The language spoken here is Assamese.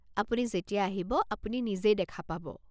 আপুনি যেতিয়া আহিব, আপুনি নিজেই দেখা পাব।